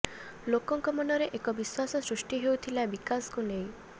ଲୋକଙ୍କ ମନରେ ଏକ ବିଶ୍ୱାସ ସୃଷ୍ଟି ହେଉଥିଲା ବିକାଶକୁ ନେଇ